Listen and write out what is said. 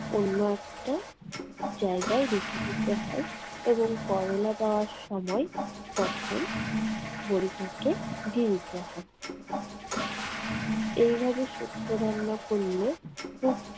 অন্য একটা জায়গায় রেখে দিতে হয় এবং করলা দেওয়ার সময় তখন বড়িটাকে দিয়ে দিতে হয়। এইভাবে শুক্তো রান্না করলে খুব